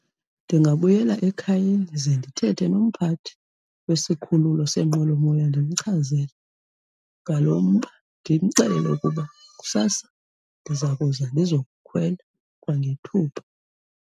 Ndingabuyela ekhayeni ze ndithethe nomphathi wesikhululo seenqwelomoya ndimchazele ngalo mba, ndimxelele ukuba kusasa ndiza kuza ndizokukhwela kwangethuba.